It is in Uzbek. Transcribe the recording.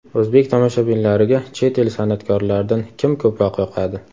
O‘zbek tomoshabinlariga chet el san’atkorlaridan kim ko‘proq yoqadi?